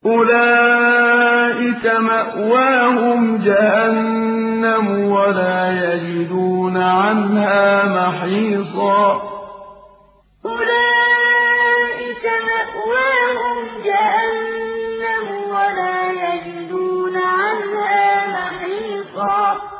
أُولَٰئِكَ مَأْوَاهُمْ جَهَنَّمُ وَلَا يَجِدُونَ عَنْهَا مَحِيصًا أُولَٰئِكَ مَأْوَاهُمْ جَهَنَّمُ وَلَا يَجِدُونَ عَنْهَا مَحِيصًا